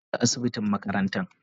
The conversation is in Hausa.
kar ka shiga asibitin makarantan.